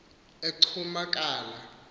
ecumakala